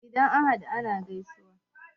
Idan an haɗu ana gaisawa.